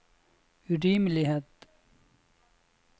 urimelighet